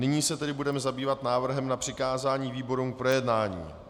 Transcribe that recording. Nyní se tedy budeme zabývat návrhem na přikázání výborům k projednání.